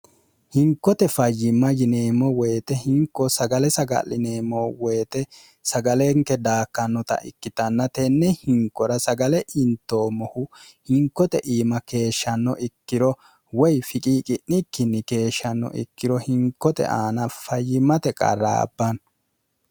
hinkote fayyimma yineemmo woyite hinko sagale saga'lineemmo woyite sagalenke daakkannota ikkitannatenne hinkora sagale intoommohu hinkote iima keeshshanno ikkiro woy fiqiiqi'nikkinni keeshshanno ikkiro hinkote aana fayyimate qarraabbanno